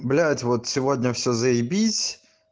блять вот сегодня все заебись